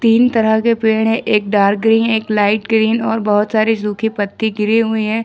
तीन तरह के पेड़ है एक डार्क ग्रीन एक लाइट ग्रीन और बहुत सारी सूखे पत्ते गिरे हुई हैं।